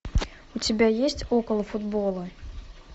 у тебя есть около футбола